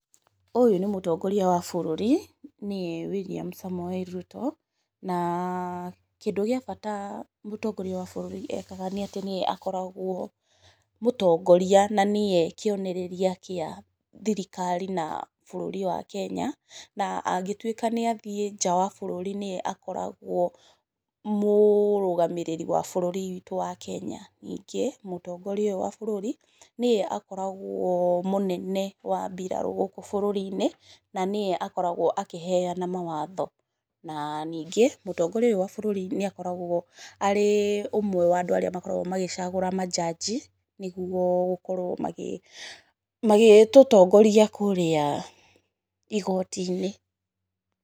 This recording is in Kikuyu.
Ũyũ nĩ mũtongoria wa bũrũri, nĩye William Samoei Ruto, na kĩndũ gĩa bata mũtongoria wa bũrũri ekaga nĩ atĩ nĩye akoragwo mũtongoria na nĩye kĩonereria gĩa thirikari na bũrũri wa Kenya, na angĩtuĩka nĩathiĩ nja wa bũrũri nĩye akoragwo mũrũgamĩrĩri wa bũrũri witũ wa Kenya, ningĩ mũtongoria ũyũ wa bũrũri, nĩye akoragwo mũnene wa mbirarũ gũkũ bũrũri-inĩ, na nĩye akoragwo akĩheana mawatho. Na ningĩ mũtongoria ũyũ wa bũrũri nĩ akoragwo arĩ ũmwe wa andũ arĩa makoragwo magĩcagũra manjanji nĩguo gũkorwo magĩtũtongoria kũrĩa igoti-inĩ.